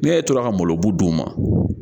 Ne e tora ka malo bu d'u ma